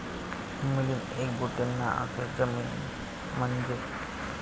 मिलिंद एकबोटेंना अखेर जामीन मंजूर